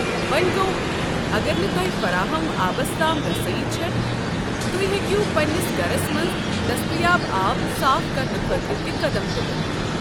وۄنۍ گوٚو اگر نہٕ تۄہہ فراہم آبس تام رسٲیی چھےٚ، تُہۍ ہیٚکو پنٛنس گرس منٛز دٔستیاب آب صاف کرنہٕ خٲطرٕ تہِ قدم تُلتھ۔